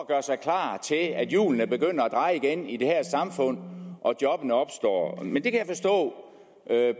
gøre sig klar til at hjulene begynder at dreje igen i det her samfund og jobbene opstår men jeg kan forstå